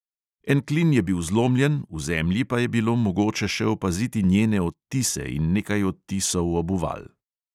En klin je bil zlomljen, v zemlji pa je bilo mogoče še opaziti njene odtise in nekaj odtisov obuval.